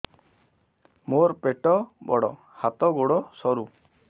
ମୋର ପେଟ ବଡ ହାତ ଗୋଡ ସରୁ